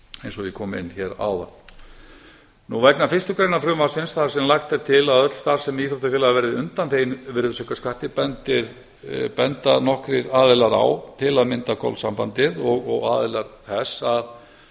eins og ég kom inn á hér áðan vegna fyrstu grein frumvarpsins þar sem lagt er til að öll starfsemi íþróttafélaga verði undanþegin virðisaukaskatti benda nokkrir aðilar á til að mynda golfsambandið og aðilar þess